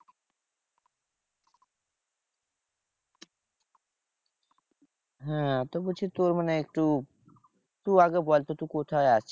হ্যাঁ তোর বলছি তোর মানে একটু তুই আগে বলতো, তুই কোথায় আছিস?